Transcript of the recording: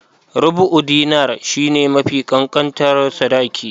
Rubu'u Dinar shi ne mafi ƙanƙantar sadaki.